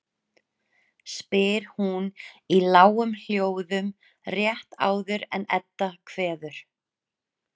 spyr hún í lágum hljóðum rétt áður en Edda kveður.